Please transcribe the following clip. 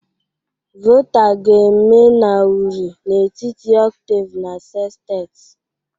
Volta ga-eme na uri n'etiti octave na sestet